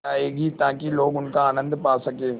जाएगी ताकि लोग उनका आनन्द पा सकें